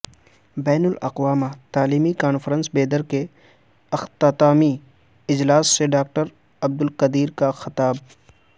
بین الاقوامی تعلیمی کانفرنس بیدر کے اختتامی اجلاس سے ڈاکٹر عبدالقدیر کا خطاب